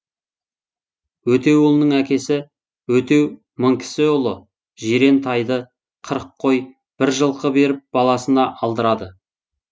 өтеуұлының әкесі өтеу мыңкісіұлы жирен тайды қырық қой бір жылқы беріп баласына алдырады